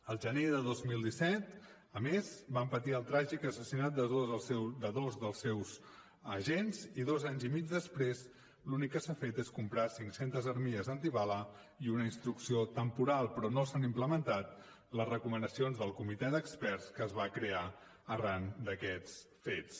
el gener de dos mil disset a més van patir el tràgic assassinat de dos dels seus agents i dos anys i mig després l’únic que s’ha fet és comprar cinc centes armilles antibales i una instrucció temporal però no s’han implementat les recomanacions del comitè d’experts que es va crear arran d’aquests fets